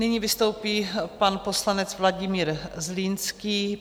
Nyní vystoupí pan poslanec Vladimír Zlínský.